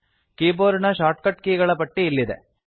keyboard ನ shortcut ಗಳ ಪಟ್ಟಿ ಇಲ್ಲಿದೆ